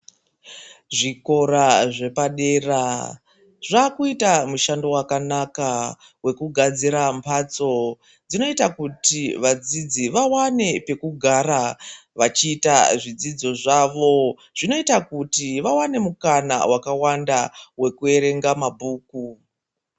Zvikora zvepadera zvakuita mushando wakanaka wekugadzira mbatso dzinoita kuti vadzidzi vawane pekugara vachiita zvidzidzo zvavo zvinoita kuti vawane mukana wakawanda wekuerenga ma bhuku.